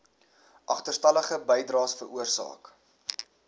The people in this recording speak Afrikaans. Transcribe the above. agterstallige bydraes veroorsaak